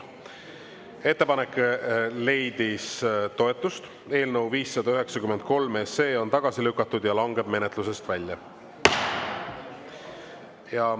Ettepanek leidis toetust, eelnõu 593 SE on tagasi lükatud ja langeb menetlusest välja.